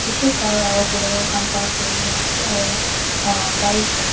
bisi car aru bolero khan park kori kina ase aru bike --